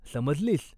समजलीस ?